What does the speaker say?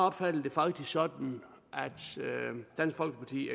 opfattede det faktisk sådan at dansk folkeparti